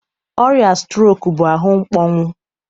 Ọrịa strok bụ ahụ mkpọnwụ